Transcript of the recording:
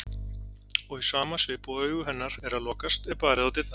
Og í sama svip og augu hennar eru að lokast er barið á dyrnar.